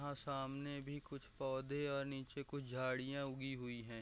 यहाँ सामने भी कुछ पौधे और निचे कुछ झाड़ियाँ उगी हुई हैं।